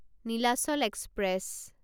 Nilachal express